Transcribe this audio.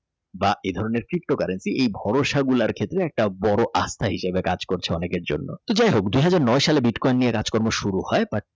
বা এই ধরনের দৃশ্য currency এই ভরসা গোলার ক্ষেত্রে একটা বড় অস্থা হিসাবে কাজ করছে অনেকের জন্য যাইহোকদুই হাজার নয় সালে বিটকয়েন নিয়ে কাজ কর্ম শুরু হয়।